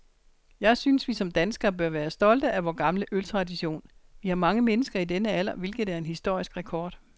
Jeg synes, vi som danskere bør være stolte af vor gamle øltradition. Vi har mange mennesker i denne alder, hvilket er en historisk rekord.